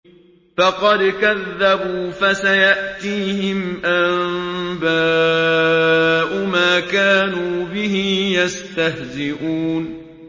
فَقَدْ كَذَّبُوا فَسَيَأْتِيهِمْ أَنبَاءُ مَا كَانُوا بِهِ يَسْتَهْزِئُونَ